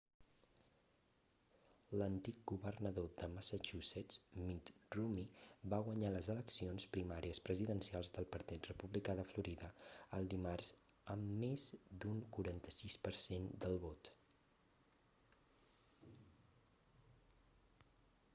l'antic governador de massachusetts mitt romney va guanyar les eleccions primàries presidencials del partit republicà de florida el dimarts amb més d'un 46 per cent del vot